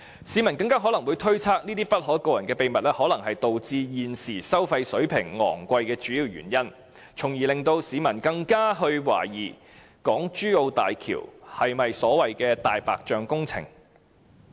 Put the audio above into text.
市民更可能會推測這些不可告人的秘密，可能是導致現時收費水平昂貴的主要原因，因而令市民更懷疑港珠澳大橋是否所謂的"大白象"工程。